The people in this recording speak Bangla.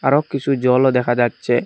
রক কিসু জলও দেখা যাচ্ছে।